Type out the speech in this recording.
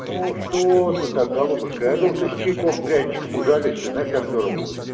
ну что ты так голубушка я думал ты с чайком пряничком ужалишься знаешь как здорово будет